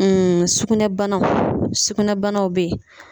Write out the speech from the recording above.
sugunɛbanaw sugunɛbanaw bɛ yen